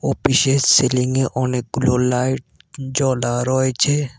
বিশেষ সিলিংয়ে অনেকগুলো লাইট জ্বলা রয়েছে।